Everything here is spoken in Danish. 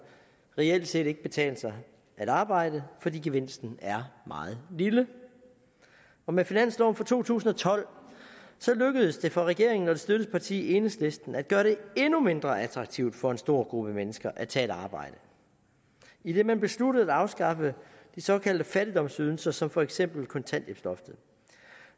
reelt set ikke betale sig at arbejde fordi gevinsten er meget lille og med finansloven for to tusind og tolv lykkedes det for regeringen og dens støtteparti enhedslisten at gøre det endnu mindre attraktivt for en stor gruppe mennesker at tage et arbejde idet man besluttede at afskaffe de såkaldte fattigdomsydelser som for eksempel kontanthjælpsloftet